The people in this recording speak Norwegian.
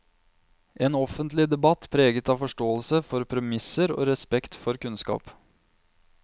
En offentlig debatt preget av forståelse for premisser og respekt for kunnskap.